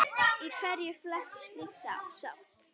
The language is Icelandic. Í hverju felst slík sátt?